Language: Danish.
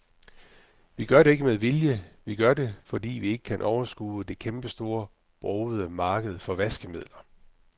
Vi gør det ikke med vilje, vi gør det, fordi vi ikke kan overskue det kæmpestore, brogede marked for vaskemidler.